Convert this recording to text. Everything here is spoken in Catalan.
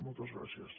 moltes gràcies